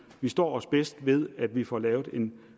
vi står os bedst ved at vi får lavet en